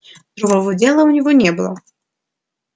другого дела у него не было